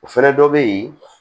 O fɛnɛ dɔ be yen